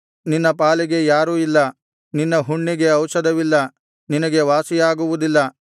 ನಿನ್ನ ಪಾಲಿಗೆ ಯಾರೂ ಇಲ್ಲ ನಿನ್ನ ಹುಣ್ಣಿಗೆ ಔಷಧವಿಲ್ಲ ನಿನಗೆ ವಾಸಿಯಾಗುವುದಿಲ್ಲ